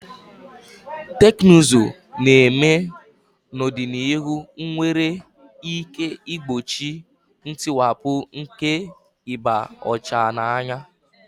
Teknụzụ na-eme n'ọdịnihu nwere ike igbochi ntiwapụ nke ịba ọcha n'anya.